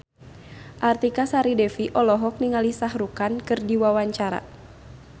Artika Sari Devi olohok ningali Shah Rukh Khan keur diwawancara